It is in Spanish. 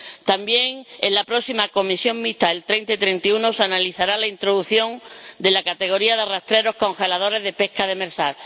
También en la próxima comisión mixta de los días 30 y 31 se analizará la introducción de la categoría de arrastreros congeladores de pesca demersal.